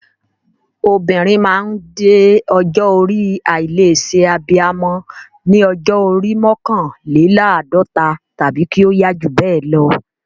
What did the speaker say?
Obìnrin máa ń dé ọjọ́ orí àìlè ṣe abiyamọ ní ọjọ́ orí mọ́kànléláàdọ́ta tàbí kí ó yá jù bẹ́ẹ̀ lọ.